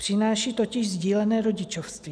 Přináší totiž sdílené rodičovství.